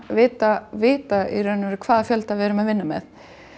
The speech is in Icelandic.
vita vita hvaða fjölda við erum að vinna með